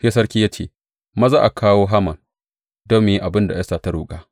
Sai sarki ya ce, Maza a kawo Haman don mu yi abin da Esta ta roƙa.